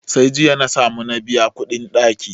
Sai jiya na samu na biya kuɗin ɗaki.